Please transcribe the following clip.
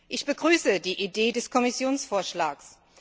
Ich begrüße die Idee des Kommissionsvorschlags.